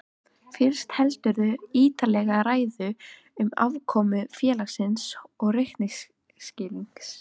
Fyrst heldurðu ítarlega ræðu um afkomu félagsins og reikningsskil.